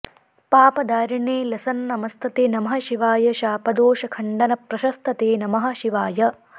पापदारिणे लसन्नमस्तते नमः शिवाय शापदोषखण्डनप्रशस्त ते नमः शिवाय